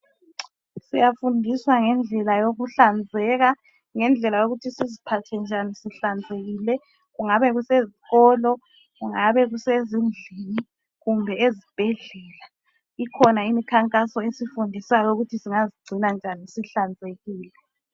Siyafundiswa ngendlela yokuhlanzeka. Ngendlela yokuthi siziphathe njani sihlanzekile, kungabe kusezikolo, kungabe kusezindlini, kumbe ezibhedlela. Ikhona imikhankaso esifundisayo ukuthi singazigcina njani sihlanzekile.